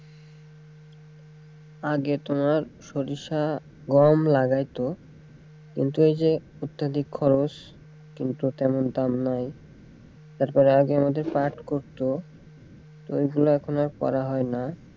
আগে তোমার সরিষা গম লাগাইতো কিন্তু এইযে অত্যাধিক খরচ কিন্তু তেমন দাম নাই এর পরে আগে আমাদের পাঠ করতো তো এইগুলা এখন আর করা হয়না,